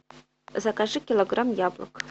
закажи килограмм яблок